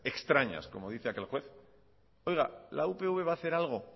extrañas como dice aquel juez oiga la upv va a hacer algo